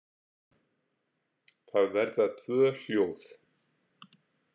Það verða tvö hljóð.